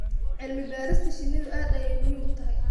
Cilmi-baarista shinnidu aad ayay muhiim u tahay.